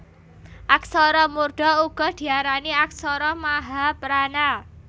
Aksara murda uga diarani aksara mahaprana